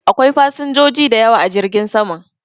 Akwai fasinjoji da yawa a jirgin saman.